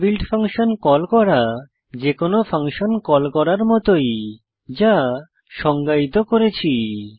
inbuilt function call করা যেকোনো function call করার মতই যা সংজ্ঞায়িত করেছি